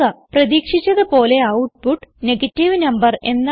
പ്രതീക്ഷിച്ചത് പോലെ output negative number എന്നാണ്